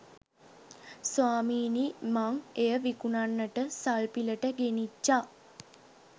ස්වාමීනී මං එය විකුණන්නට සල්පිලට ගෙනිච්චා.